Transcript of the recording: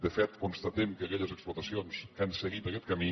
de fet constatem que aquelles explotacions que han seguit aquest camí